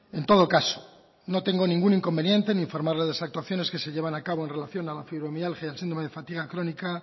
en todo caso no tengo ningún inconveniente en informar de las actuaciones que se llevan a cabo en relación a la fibromialgia y al síndrome de fatiga crónica